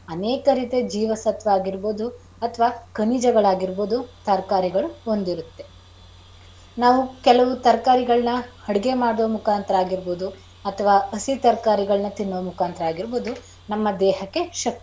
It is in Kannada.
ಹಸಿರು ತರಕಾರಿಗಳಲ್ಲಿ ಅನೇಕ ರೀತಿಯಲ್ಲಿ ಜೀವ ಸತ್ವ ಆಗಿರಬೋದು ಅಥವಾ ಖನಿಜಗಳಾಗಿರಬೋದು ತರಕಾರಿಗಳು ಹೊಂದಿರುತ್ತೆ. ನಾವು ಕೆಲವು ತರಕಾರಿಗಳನ್ನ ಅಡುಗೆ ಮಾಡುವ ಮುಖಾಂತರ ಆಗಿರ್ಬೋದು ಅಥವಾ ಹಸಿ ತರಕಾರಿಗಳನ್ನ ತಿನ್ನುವ ಮುಖಾಂತರ ಆಗಿರ್ಬೋದು ನಮ್ಮ ದೇಹಕ್ಕೆ ಶಕ್ತಿಯನ್ನು.